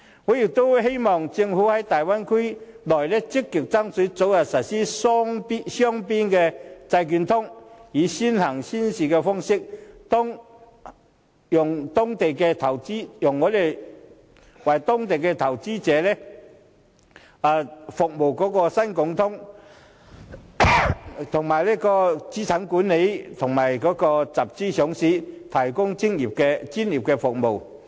我亦希望政府在大灣區內，積極爭取早日實施雙邊債券通，以先行先試方式，讓中港兩地投資者可透過新股通跨境認購對方市場發行的新股，為資產管理和集資上市提供專業服務。